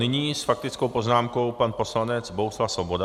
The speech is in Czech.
Nyní s faktickou poznámkou na poslanec Bohuslav Svoboda.